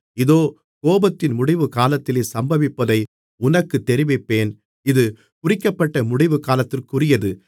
இதோ கோபத்தின் முடிவுகாலத்திலே சம்பவிப்பதை உனக்குத் தெரிவிப்பேன் இது குறிக்கப்பட்ட முடிவுகாலத்திற்குரியது